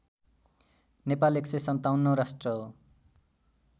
नेपाल १५७ औं राष्ट्र हो